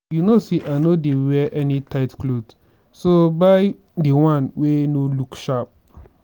you no say i no dey wear any tight cloth so buy the wan wey no look sharp